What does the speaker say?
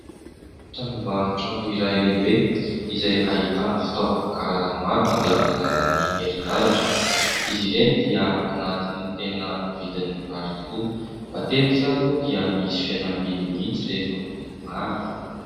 Tranombarotra iray lehibe izay ahitana fitaovana karazany maro mandeha amin'ny alalan'ny herinaratra, izy ireny dia anatin'ny tena vidin'ny mirary tokoa, matetika ary moa dia misy fihenam-bidy mihitsy rehefa mividy maro.